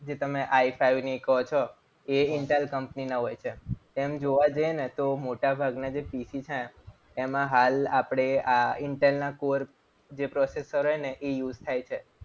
જે તમે i five ને એ કહો છો. એ intel કંપનીના હોય છે. એમ જોવા જઈએ ને તો મોટાભાગના જે PC છે. એમાં હાલ આપણે આ intel core જે processor હોય ને એ use થાય છે.